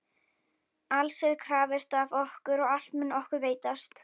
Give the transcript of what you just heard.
Alls er krafist af okkur og allt mun okkur veitast.